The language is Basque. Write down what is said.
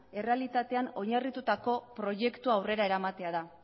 errealitatean oinarritutako proiektua aurrera eramatea da